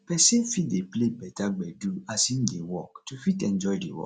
person fit dey play better gbedu as im dey work to fit enjoy di work